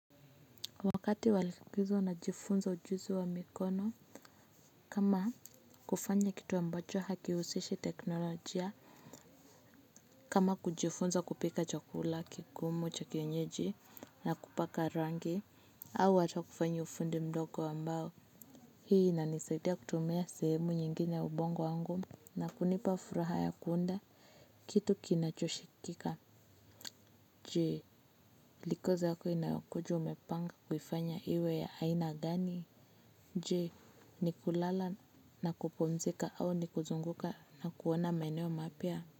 Wakati wa likizo najifunza ujuzi wa mikono kama kufanya kitu ambacho hakihusishi teknolojia. Kama kujifunza kupika chakula kigumu cha kienyeji na kupaka rangi au hata kufanya ufundi mdogo ambao hii inanisaidia kutumia sehemu nyingine ya ubongo wangu na kunipa furaha ya kuunda. Kitu kinachoshikika. Je likizo yako inayokuja umepanga kufanya iwe ya aina gani? Je, ni kulala na kupumzika au ni kuzunguka na kuona maeneo mapya?